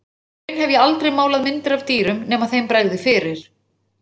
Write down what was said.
Og í raun hef ég aldrei málað myndir af dýrum nema þeim bregði fyrir.